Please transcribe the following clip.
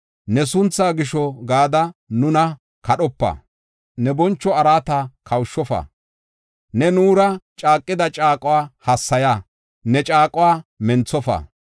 Ne sunthaa gisho gada nuna kadhopa; ne boncho araata kawushofa. Ne nuura caaqida caaquwa hassaya; ne caaquwa menthofa.